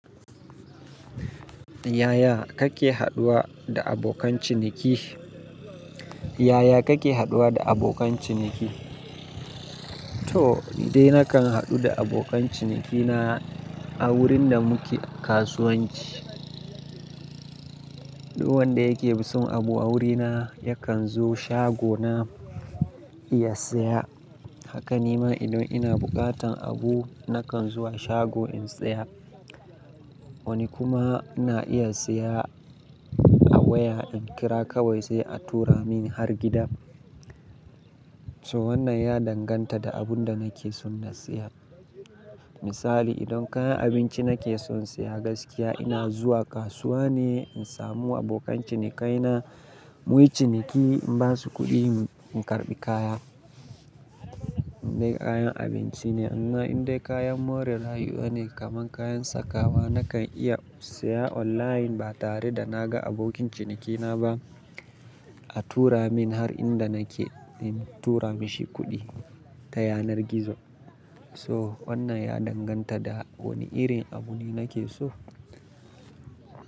Yaya kake haɗuwa da abokan ciniki? Yaya kake haɗuwa da abokan ciniki? To ni dai nakan haɗu da abokan cinikina a wurin da muke kasuwanci. Duk wanda yake son abu a wurina yakan zo shagona ya saya. Haka nima idan ina buƙatan abu nakan zuwa shago in saya. Wani kuma na iya siya a waya in kira kawai sai a tura min har gida. So wannan ya danganta da abun da nake son na siya. Misali idan kayan abinci nake son siya gaskiya ina zuwa kasuwa ne in samu abokan cinikai na muyi ciniki in basu kuɗi in karɓi kaya. Indai kayan abinci ne amma indai kayan more rayuwa ne kaman kayan sakawa nakan iya siya online ba tare da naga abokin cinikina ba. A tura min har inda nake in tura mashi kuɗi ta yanar gizo. So wannan ya danganta da wani irin abu ne nake so.